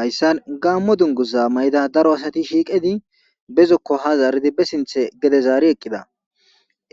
hayssan gaammo dunguza mayida daro asati shiiqedi bezokko ha zaaridi be sinthe gede zaari eqqida